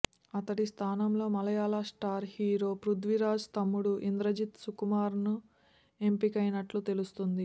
అతడి స్థానంలో మలయాళ స్టార్ హీరో పృథ్వీరాజ్ తమ్ముడు ఇంద్రజిత్ సుకుమారన్ ఎంపికైనట్లు తెలుస్తోంది